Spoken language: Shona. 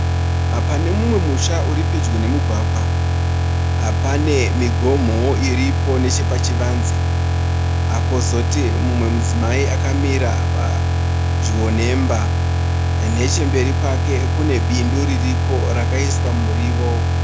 Pane mumwe musha uri pedyo nemugwagwa, pane migomo iripo nechepachivamze. Kozoti mumwe mudzimai akamira padyo nemba. Nechemberi kwakwe kune bindu ririko rakaiswa muriwo.